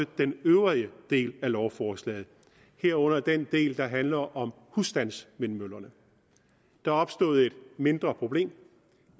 øvrige dele af lovforslaget herunder den del der handler om husstandsvindmøllerne der er opstået et mindre problem